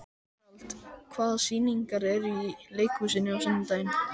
Gerald, hvaða sýningar eru í leikhúsinu á sunnudaginn?